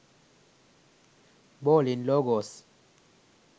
bowling logos